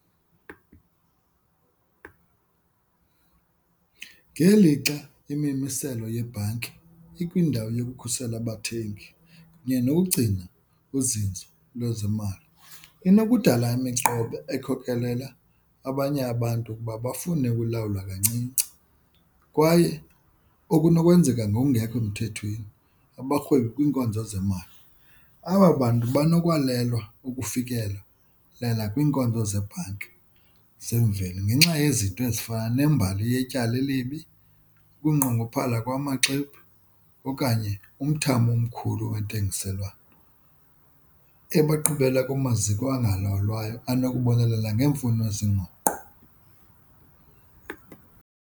Ngelixa imimiselo yebhanki ikwindawo yokukhusela abathengi kunye nokugcina uzinzo lwezimali, inokudala imiqobo ekhokelela abanye abantu ukuba bafune ukulawulwa kancinci kwaye okunokwenzeka ngokungekho mthethweni abarhwebi kwiinkonzo zemali. Aba bantu banokwalelwa ukufikela kwiinkonzo zebhanki zemveli ngenxa yezinto ezifana nembali yetyala elibi, ukunqongophala kwamaxwebhu okanye umthamo omkhulu kwentengiselwano ebaqhubela kumaziko angalawulwayo anokubonelela ngeemfuno zenguqu.